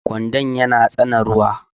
kwando yana tsane ruwa